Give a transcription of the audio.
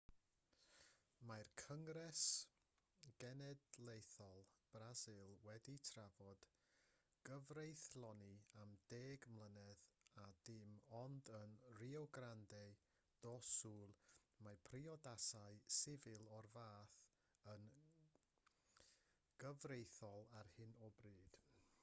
mae cyngres genedlaethol brasil wedi trafod cyfreithloni am 10 mlynedd a dim ond yn rio grande do sul mae priodasau sifil o'r fath yn gyfreithiol ar hyn o bryd